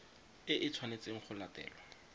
e e tshwanetseng go latelwa